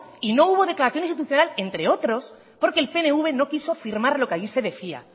y no hubo declaración institucional entre otros porque el pnv no quiso firmar lo que ahí se decía